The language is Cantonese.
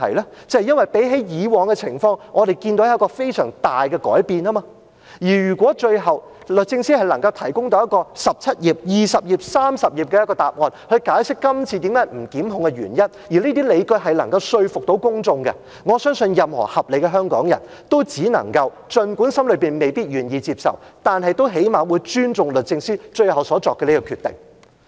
那就是因為相比以往的情況，我們看到有非常大的改變，而如果最後，律政司能夠提供到一個17頁、20頁、30頁的答案，去解釋今次不檢控的原因，而這些理據能夠說服公眾，則我相信任何合理的香港人都只能夠，儘管心中未必願意接受，但最少限度也尊重律政司最後所作的決定。